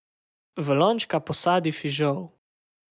V lončka posadi fižol.